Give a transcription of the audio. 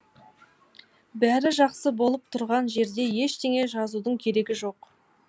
бәрі жақсы болып тұрған жерде ештеңе жазудың керегі жоқ